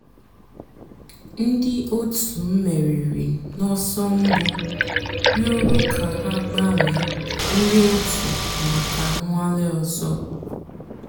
ǹdí ọ̀tù mèrìrì n'ọ̀sọ̀ mbù rị̀ọrọ̀ kà hà gbànwèè ńdí ọ̀tù mǎká nnwàlè òzò.